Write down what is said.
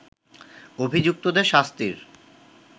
অভিযুক্তদের শাস্তির